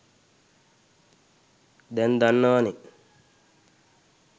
දැන් දන්නවනේ